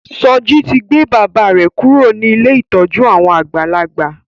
Soji to gbé bàbá rẹ kúrò ní Ilé ìtọjú àwọn àgbàlagbà